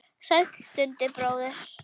Sæll Dundi bróðir!